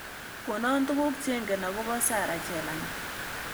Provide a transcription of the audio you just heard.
Konon tugul chengen ago po sarah chelangat